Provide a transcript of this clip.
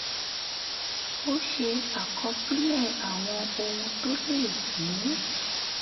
a ṣe àkọsílẹ̀ àwọn ohun tó lè mú